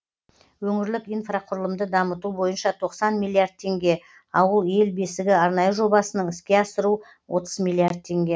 өңірлік инфрақұрылымды дамыту бойынша тоқсан миллиард теңге ауыл ел бесігі арнайы жобасының іске асыру отыз миллиард теңге